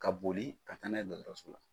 Ka boli ka taa n'a ye dɔgɔtɔrɔso la